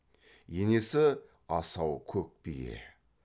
енесі асау көк бие